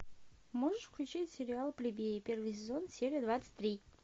можешь включить сериал плебеи первый сезон серия двадцать три